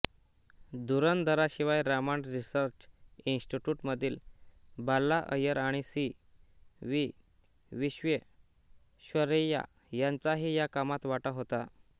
धुरंधरांशिवाय Raman research इन्स्टिट्यूटमधील बाला अय्यर आणि C V Visvesvaraya यांचाही या कामात वाटा होता